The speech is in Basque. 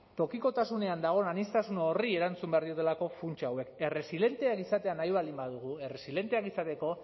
tokikotasunean dagoen aniztasun horri erantzun behar diotelako funts hauek erresilenteak izan nahi baldin badugu erresilenteak izateko